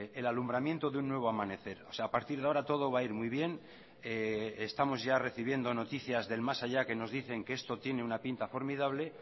el alumbramiento de un nuevo amanecer o sea a partir de ahora todo va a ir muy bien estamos ya recibiendo noticias del más allá que nos dicen que esto tiene una pinta formidable